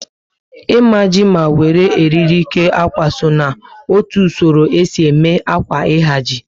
Imaji ma wéré oriri kee ákwà so n'otu usoro esi eme ákwà ihaji